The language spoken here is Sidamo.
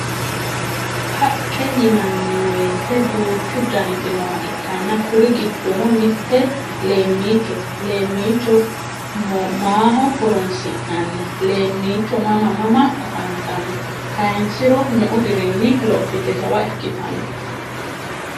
Haqqe yinanniweyite duuchu daniti nooha ikkanna kuri giddono mitte leemmichote leemmicho maho horonsi'nanni? Leemmicho mama mama afantanno? Kaynsiro meu dirinni lophite jawa ikkitanno?